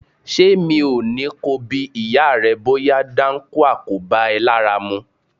Ṣé mi ò ní ko bi ìyá rẹ bóyá dáńkúà kò bá ẹ lára mu?